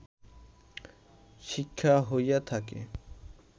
শিক্ষা হইয়া থাকে